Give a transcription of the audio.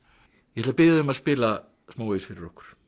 ég ætla að biðja þig um að spila smávegis fyrir okkur